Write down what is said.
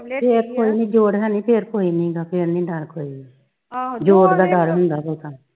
ਫਿਰ ਕੋਈ ਨੀ ਜੋੜ ਹੈਨੀ ਫਿਰ ਕੋਈ ਨੀ ਨੀਗਾ ਫਿਰ ਨੀ ਡਰ ਕੋਈ ਨਹੀਂ ਜੋੜ ਦਾ ਡਰ ਹੁੰਦਾ ਬਹੁਤਾ